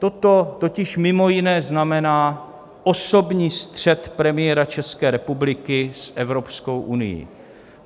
Toto totiž mimo jiné znamená osobní střet premiéra České republiky s Evropskou unií.